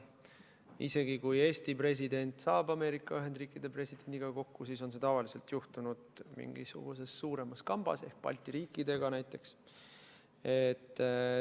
Isegi kui Eesti president saab Ameerika Ühendriikide presidendiga kokku, siis on see tavaliselt juhtunud mingisuguses suuremas kambas ehk koos teiste Balti riikidega näiteks.